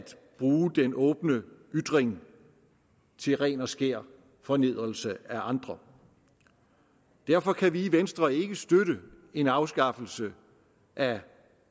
bruge den åbne ytring til ren og skær fornedrelse af andre derfor kan vi i venstre ikke støtte en afskaffelse af